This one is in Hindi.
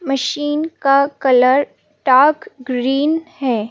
मशीन का कलर डार्क ग्रीन है।